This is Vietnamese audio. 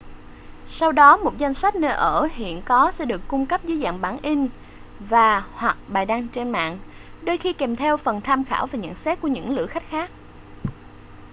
sau đó một danh sách nơi ở hiện có sẽ được cung cấp dưới dạng bản in và/hoặc bài đăng trên mạng đôi khi kèm theo phần tham khảo và nhận xét của những lữ khách khác